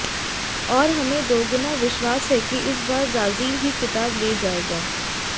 और हमें दोगुना विश्वास है कि इस बार ब्राजील ही खिताब ले जाएगा